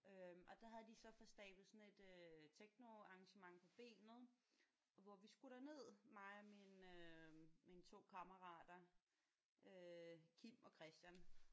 Øh og der havde de så fået stablet sådan et øh technoarrangement på benet hvor vi skulle derned mig og min øh mine 2 kammerater øh Kim og Christian